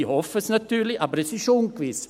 Ich hoffe es natürlich, aber es ist ungewiss.